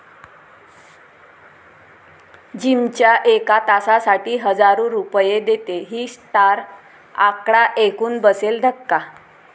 जिमच्या एका तासासाठी हजारो रुपये देते ही स्टार, आकडा ऐकून बसेल धक्का